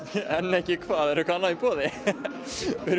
en ekki hvað er eitthvað annað í boði við erum